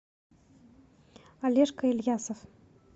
олежка ильясов